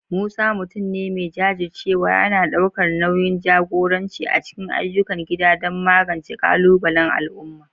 Musa, mutum ne mai jajircewa, yana ɗaukar nauyin jagoranci a cikin ayyukan gida don magance ƙalubalen al'umma